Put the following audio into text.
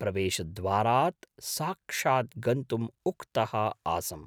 प्रवेशद्वारात् साक्षात् गन्तुम् उक्तः आसम्।